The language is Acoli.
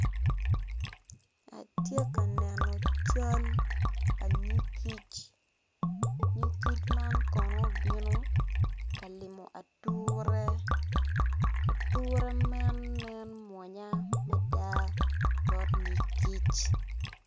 Atye ka neno cal nyig kic nyig kic man kono obino ka limo ature ature man nen mwonya mada bot yig kic.